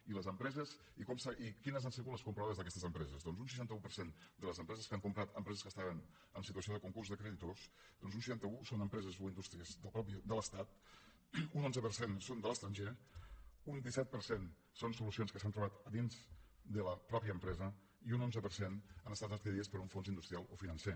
i quines han sigut les compradores d’aquestes empreses doncs un seixanta un per cent de les empreses que han comprat empreses que estaven en situació de concurs de creditors un seixanta un són empreses o indústries de l’estat un onze per cent són de l’estranger un disset per cent són solucions que s’han trobat dins de la mateixa empresa i un onze per cent han estat adquirides per un fons industrial o financer